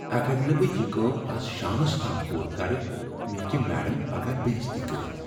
اگر نہٕ بہٕ یہ کٲم آز شامس تام پوٗرٕ کٔرٕ، مےٚ ہٮ۪کہ میڈم پگاہ بے٘عزتی كرِتھ ۔